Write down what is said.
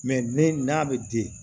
ne n'a bɛ di